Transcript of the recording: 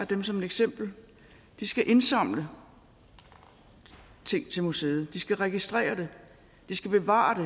dem som eksempel de skal indsamle ting til museet de skal registrere det de skal bevare det